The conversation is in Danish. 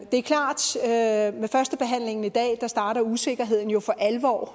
er klart at ved førstebehandlingen i dag starter usikkerheden jo for alvor